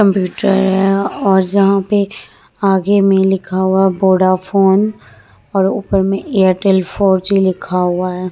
Computer है और जहा पे आगे में लिखा हुआ है वोडाफ़ोन और ऊपर में एयरटेल फोर जी लिखा हुआ है।